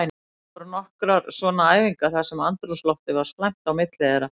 Það voru nokkrar svona æfingar þar sem andrúmsloftið var slæmt á milli þeirra.